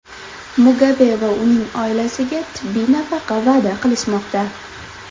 Mugabe va uning oilasiga tibbiy nafaqa va’da qilishmoqda.